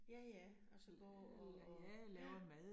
Ja ja, og så går og og, ja